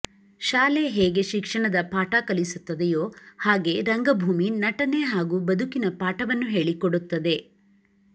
ಶಾಲೆ ಹೇಗೆ ಶಿಕ್ಷಣದ ಪಾಠ ಕಲಿಸುತ್ತದೆಯೋ ಹಾಗೆ ರಂಗಭೂಮಿ ನಟನೆ ಹಾಗೂ ಬದುಕಿನ ಪಾಠವನ್ನು ಹೇಳಿಕೊಡುತ್ತದೆ